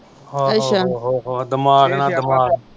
ਅੱਛਾ